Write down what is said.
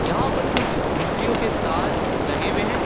यहां पर कुछ बिजलियों के तार लगे हुए हैं।